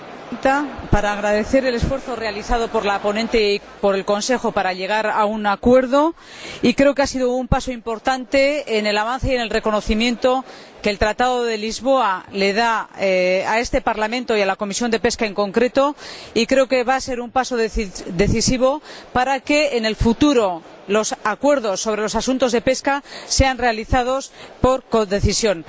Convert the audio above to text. Señora Presidenta, querría agradecer el esfuerzo realizado por la ponente y por el Consejo para llegar a un acuerdo. Creo que ha sido un paso importante en el avance y en el reconocimiento que el Tratado de Lisboa le da a este Parlamento y a la Comisión de Pesca en concreto, y pienso que va a ser un paso decisivo para que en el futuro los acuerdos sobre los asuntos de pesca sean realizados mediante codecisión.